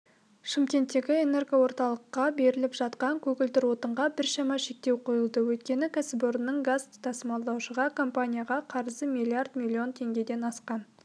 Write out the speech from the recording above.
шымкенттегі энергоорталыққа беріліп жатқан көгілдір отынға біршама шектеу қойылды өйткені кәсіпорынның газ тасымалдаушы компанияға қарызы миллиард миллион теңгеден асқан